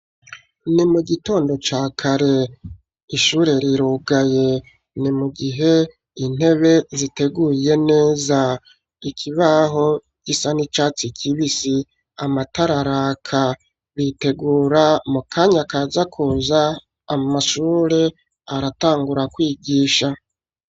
Ni mu gitondo ca kare ishure rirugaye ni mu gihe intebe ziteguye neza ikibaho gisa n'icatsi kibisi amatararaka bitegura mu kanya kazakuza amashure aratangura kwigisha.